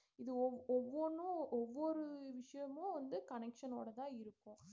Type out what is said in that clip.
இது ஒவ்~ ஒவொன்னும் ஒவ்வொரு விஷியமும் வந்து connection ஓட தான் இருக்கும்